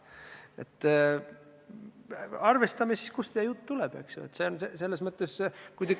Nii et arvestame, kust see jutt tuleb!